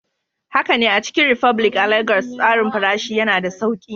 Haka ne, a Chicken republic a Legas, tsarin farashi yana da sauƙi.